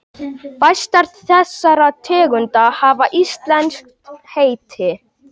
Fæstar þessara tegunda hafa íslenskt heiti.